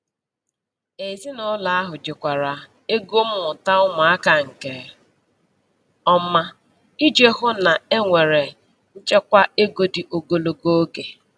Ezinụlọ ahụ jikwara ego mmụta ụmụaka nke ọma iji hụ na e nwere nchekwa ego dị ogologo oge.